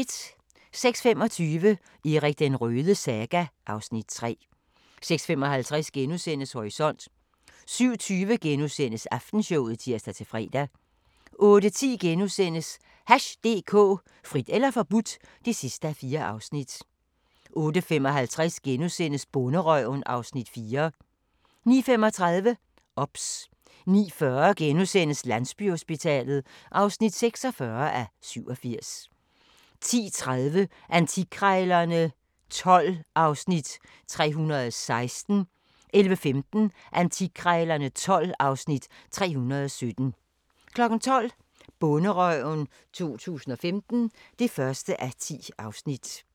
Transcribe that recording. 06:25: Erik den Rødes saga (Afs. 3) 06:55: Horisont * 07:20: Aftenshowet *(tir-fre) 08:10: Hash DK – Frit eller forbudt (4:4)* 08:55: Bonderøven (Afs. 4)* 09:35: OBS 09:40: Landsbyhospitalet (46:87)* 10:30: Antikkrejlerne XII (Afs. 316) 11:15: Antikkrejlerne XII (Afs. 317) 12:00: Bonderøven 2015 (1:10)